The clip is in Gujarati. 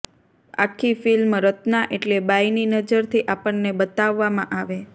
આખી ફિલ્મ રત્ના એટલે બાઈની નજરથી આપણને બતાવવામાં આવે